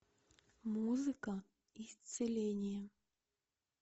музыка исцеления